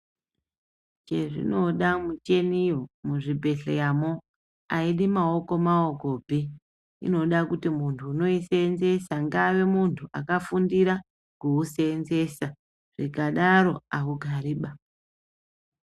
Chezvinoda mucheniyo muzvibhehleyamwo ayidi maoko maokopi. Inoda kuti muntu unoisenzesa ave muntu wakafundira kuwusenzesa. Zvikadaro awugariba.